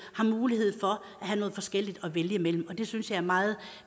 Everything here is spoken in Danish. har mulighed for at have noget forskelligt at vælge imellem det synes jeg er meget